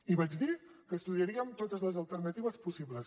i vaig dir que estudiaríem totes les alternatives possibles